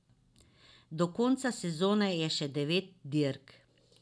Do konca sezone je še devet dirk.